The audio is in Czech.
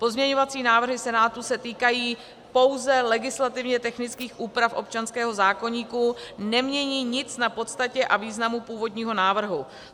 Pozměňovací návrhy Senátu se týkají pouze legislativně technických úprav občanského zákoníku, nemění nic na podstatě a významu původního návrhu.